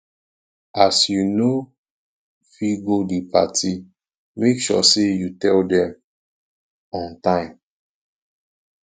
if you no fit go di party make sure say you tell dem on time